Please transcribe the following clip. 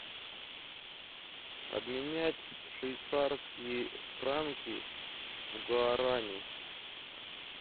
обменять швейцарские франки в гуарани